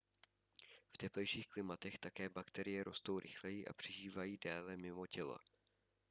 v teplejších klimatech také bakterie rostou rychleji a přežívají déle mimo tělo